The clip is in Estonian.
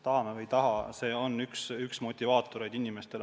Tahame või ei taha, see on üks motivaatoreid inimestele.